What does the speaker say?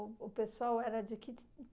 O o pessoal era de que